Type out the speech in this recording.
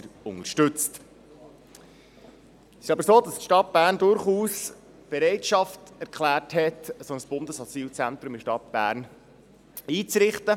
Es ist aber so, dass die Stadt Bern durchaus Bereitschaft erklärt hat, ein solches Bundesasylzentrum in der Stadt Bern einzurichten.